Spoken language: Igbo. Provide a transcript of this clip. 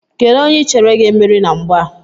Kedụ onye I chere ga-emeri na mgba a?